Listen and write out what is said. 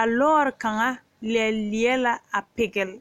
a lɔɔre kaŋa leɛ leɛ la pigele